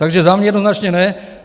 Takže za mě jednoznačně ne.